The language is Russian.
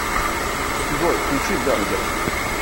джой включи дангер